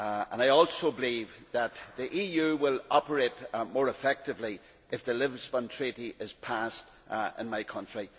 I also believe that the EU will operate more effectively if the Lisbon Treaty is passed in my country.